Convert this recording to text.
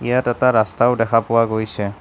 ইয়াত এটা ৰাস্তাও দেখা পোৱা গৈছে।